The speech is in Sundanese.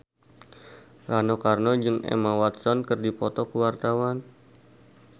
Rano Karno jeung Emma Watson keur dipoto ku wartawan